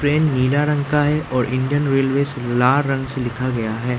Train नीले रंग का है और इंडियन रेलवेज़ लाल रंग से लिखा गया है।